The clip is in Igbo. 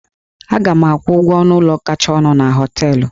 Aga m akwụ ụgwọ ọnụ ụlọ kacha ọnụ na hóteélụ̀